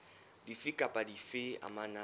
dife kapa dife tse amanang